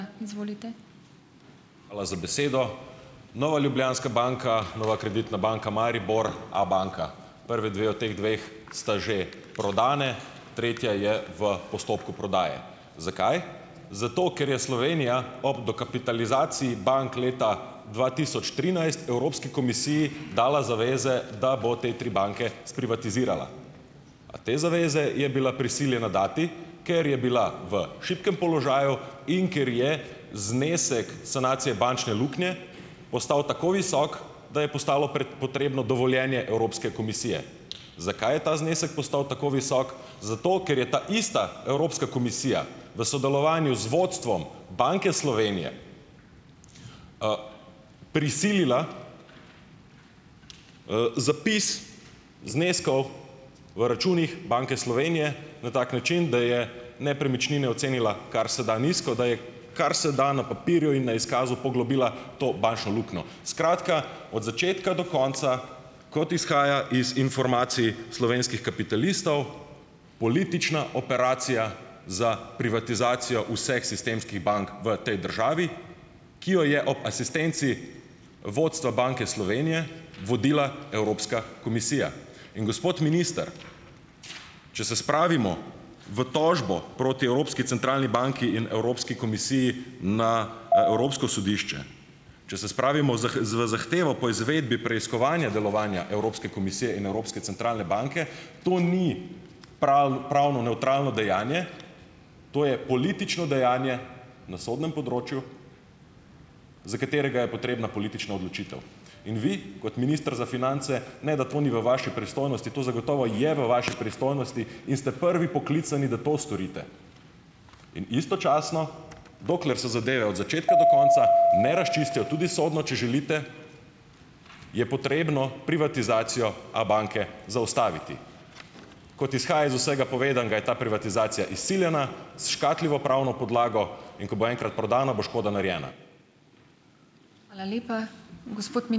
Hvala za besedo! Nova Ljubljanska banka, Nova Kreditna banka Maribor, Abanka. Prvi dve od teh dveh, sta že prodani, tretja je v postopku prodaje. Zakaj? Zato, ker je Slovenija ob dokapitalizaciji bank leta dva tisoč trinajst, Evropski komisiji dala zaveze, da bo te tri banke sprivatizirala. A te zaveze je bila prisiljena dati, ker je bila v šibkem položaju in ker je znesek sanacije bančne luknje postal tako visok, da je postalo potrebno dovoljenje Evropske komisije. Zakaj je ta znesek postal tako visok? Zato, ker je ta ista Evropska komisija v sodelovanju z vodstvom Banke Slovenije, prisilila, zapis zneskov v računih Banke Slovenije na tak način, da je nepremičnine ocenila karseda nizko, da je karseda na papirju in na izkazu poglobila to bančno luknjo. Skratka, od začetka do konca, kot izhaja iz informacij slovenskih kapitalistov, politična operacija za privatizacijo vseh sistemskih bank v tej državi, ki jo je ob asistenci vodstva Banke Slovenije vodila Evropska komisija, in gospod minister, če se spravimo v tožbo proti Evropski centralni banki in Evropski komisiji na, Evropsko sodišče, če se spravimo z zahtevo po izvedbi preiskovanja delovanja Evropske komisije in Evropske centralne banke, to ni pravno nevtralno dejanje, to je politično dejanje na sodnem področju, za katerega je potrebna politična odločitev in vi, kot minister za finance, ne da to ni v vaši pristojnosti, to zagotovo je v vaši pristojnosti in ste prvi poklicani, da to storite in istočasno, dokler se zadeve od začetka do konca ne razčistijo, tudi sodno, če želite, je potrebno privatizacijo Abanke zaustaviti. Kot izhaja iz vsega povedanega, je ta privatizacija izsiljena, s "škatljivo" pravno podlago, in ko bo enkrat prodano, bo škoda narejena.